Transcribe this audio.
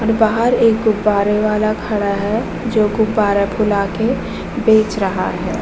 और बाहर एक गुब्बारा वाला खड़ा है जो गुब्बारा फुला के बेच रहा है।